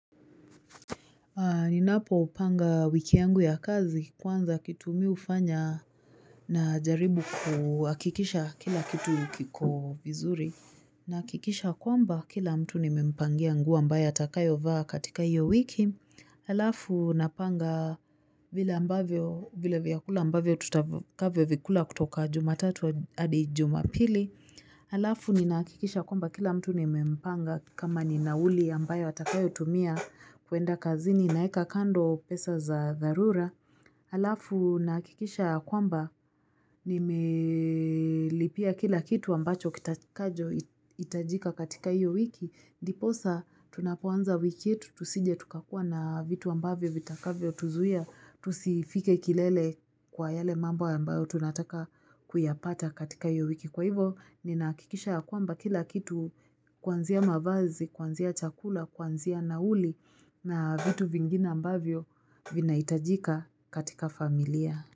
Ninapopanga wiki yangu ya kazi kwanza kitu mi hufanya najaribu kuhakikisha kila kitu kiko vizuri. Nahakikisha kwamba kila mtu nimempangia nguo ambayo atakayo vaa katika hiyo wiki. Alafu napanga vile ambavyo, vile vyakula ambavyo tutakavyovikula kutoka jumatatu hadi jumapili. Halafu ninakikisha kwamba kila mtu nimempanga, kama ni nauli ambayo atakayotumia kwenda kazini naweka kando pesa za dharura halafu nahakikisha ya kwamba nimelipia kila kitu ambacho kitakacho hitajika katika hiyo wiki ndipo sa tunapoanza wiki yetu tusije tukakua na vitu ambavyo vitakavyotuzuia tusifike kilele kwa yale mambo ambayo tunataka kuyapata katika hiyo wiki, Kwa hivyo, ninakikisha kwamba kila kitu kuanzia mavazi, kuanzia chakula, kianzia nauli na vitu vingine ambavyo vinahitajika katika familia.